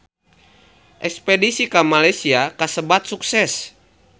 Espedisi ka Malaysia kasebat sukses